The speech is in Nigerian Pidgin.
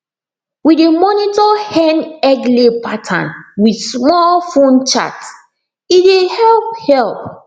we dey monitor hen egglay pattern with small phone chart e dey help help